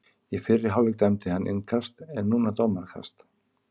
Í fyrri hálfleik dæmdi hann innkast en núna dómarakast.